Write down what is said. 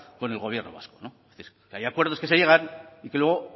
con el gobierno vasco que hay acuerdos que se llegan y que luego